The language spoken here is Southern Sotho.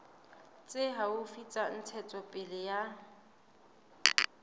tse haufi tsa ntshetsopele ya